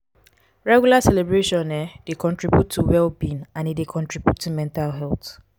regular celebration um dey contribute to well being and e dey contribute to mental health